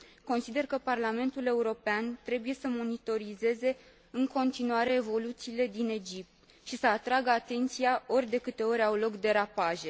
Consider că Parlamentul European trebuie să monitorizeze în continuare evoluțiile din Egipt și să atragă atenția ori de câte ori au loc derapaje.